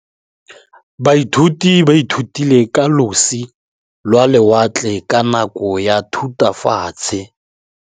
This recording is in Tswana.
Baithuti ba ithutile ka losi lwa lewatle ka nako ya Thutafatshe.